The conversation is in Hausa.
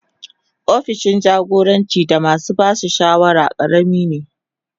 Opishin jagora da masu ba da shawara karami ne.